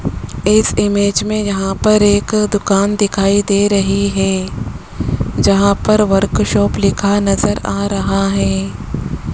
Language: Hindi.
इस इमेज में यहां पर एक दुकान दिखाई दे रही है जहां पर वर्कशॉप लिखा नजर आ रहा है।